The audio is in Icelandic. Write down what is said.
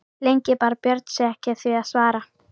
Lengi bar Björn sig ekki að því að svara.